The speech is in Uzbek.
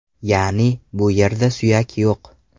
Ya’ni, bu yerda suyak yo‘q.